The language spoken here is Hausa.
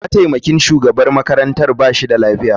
Mataimakin shugaban makarantar ba shi da lafiya.